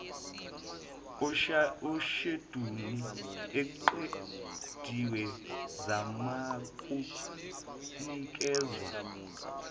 isheduli eqediwe izakunikezwa